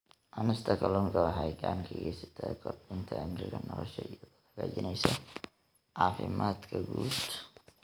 Cunista kalluunka waxay gacan ka geysataa kordhinta cimriga nolosha iyadoo hagaajinaysa caafimaadka guud.